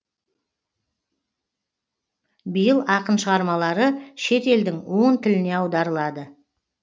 биыл ақын шығармалары шет елдің он тіліне аударылады